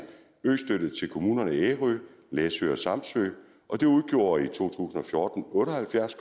østøtte til kommunerne ærø læsø og samsø og det udgjorde i to tusind og fjorten otte og halvfjerds